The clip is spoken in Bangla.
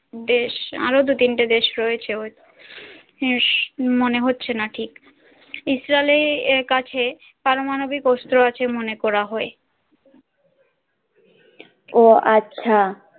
দেশ আরও দু তিনটে দেশ রয়েছে ঐ ঈষ মনে হছে না ঠিক ইসরাইলের কাছে পারমাণবিক অস্ত্র আছে মনে করা হয় ওহ আচ্ছা